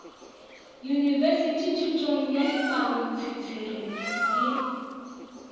yunibesithi thutong ya dipalontshesere le